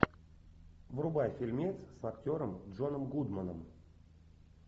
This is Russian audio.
врубай фильмец с актером джоном гудманом